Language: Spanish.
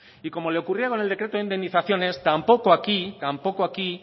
y como le ocurría con el decreto de indemnizaciones tampoco aquí tampoco aquí